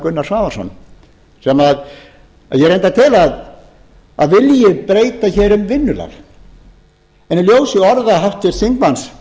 gunnar svavarsson sem ég reyndar tel að vilji breyta hér um vinnulag en í ljósi orða háttvirts þingmanns